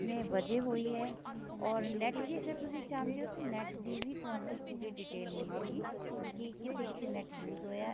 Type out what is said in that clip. ਵਜੇ ਹੋਈ ਏ or NET ਦੀ ਅਗਰ ਤੁਸੀਂ ਚਾਹੁੰਦੇ ਓ ਤੇ NET ਦੀ ਵੀ ਤੁਹਾਨੂੰ ਪੂਰੀ detail ਮਿਲੇਗੀ ਕੀ ਕਿੱਥੇ ਕਿੱਥੇ NET use ਹੋਇਆ